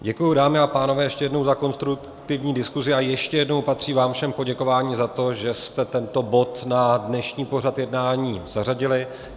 Děkuji, dámy a pánové, ještě jednou za konstruktivní diskusi a ještě jednou patří vám všem poděkování za to, že jste tento bod na dnešní pořad jednání zařadili.